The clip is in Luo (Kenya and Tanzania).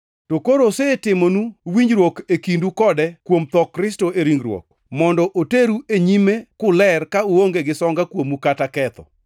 To koro osetimonu winjruok e kindu kode kuom tho Kristo e ringruok, mondo oteru e nyime kuler ka uonge gi songa kuomu kata ketho.